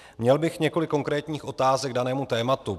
Měl bych několik konkrétních otázek k danému tématu.